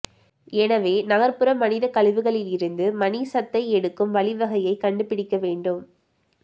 எனவே நகர்புற மனிதக் கழிவுகளிலிருந்து மணிச் சத்தை எடுக்கும் வழி வகையை கண்டுபிடிக்க வேண்டும்